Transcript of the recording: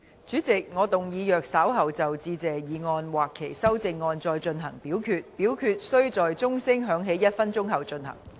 主席，我動議若稍後就"致謝議案"或其修正案再進行點名表決，表決須在鐘聲響起1分鐘後進行。